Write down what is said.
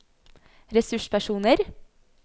ressurspersoner